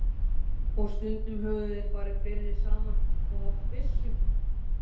Og stundum höfðu þeir farið fleiri saman og haft byssu.